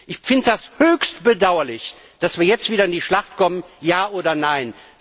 Ich finde das höchst bedauerlich, dass wir jetzt wieder in die Schlacht kommen Ja oder Nein.